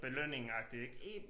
Belønning agtig ik